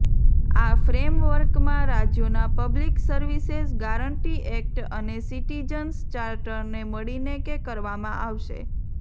આ ફ્રેમવર્કમાં રાજ્યોના પબ્લિક સર્વિસેઝ ગારંટી એક્ટ અને સિટીજંસ ચાર્ટરને મળીને કે કરવામાં આવશે